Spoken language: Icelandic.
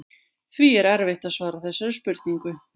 Því er erfitt að svara þessari spurningu.